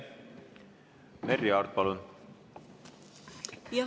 Merry Aart, palun!